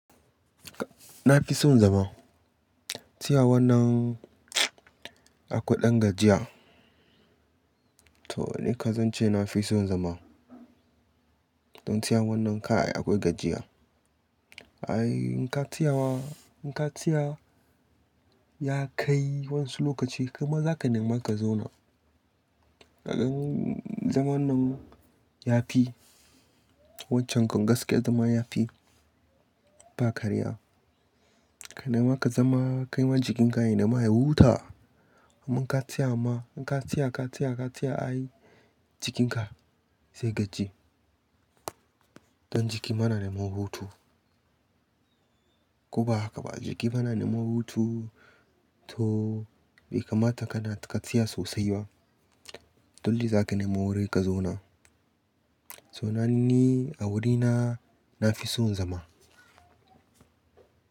Na fi son zama, tsaya wannan a kwai ɗan gajiya. To nikan zan ce na fi son zama, don tsaya wannan kaai akwai gajiya. Ai in ka tsaya ma, in ka tsaya ya kai wani lokaci kai ma za ka nema ka zauna. Kagan zaman nan ya fi, waccen kan gaskiya zama ya fi ba karya. Ka nema ka zama kai ma jikin ka ya nema ya huta. Domin in ka tsaya ma, in ka tsaya, ka tsaya, ka tsaya ai jikinka zai gaji. Don jiki ma na nema hutu. Ko ba haka ba jiki ma na nema hutu to bai kamata kana ka tsaya sosai ba, don li za ka nema wuri ka zauna. To na ni a wurina na fi son zama.